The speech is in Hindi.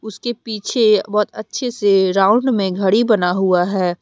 उसके पीछे बहोत अच्छे से राउंड में घड़ी बना हुआ है।